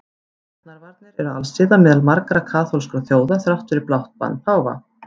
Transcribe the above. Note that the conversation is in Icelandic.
Getnaðarvarnir eru alsiða meðal margra kaþólskra þjóða þrátt fyrir blátt bann páfans.